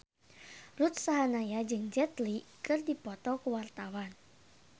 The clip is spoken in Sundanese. Ruth Sahanaya jeung Jet Li keur dipoto ku wartawan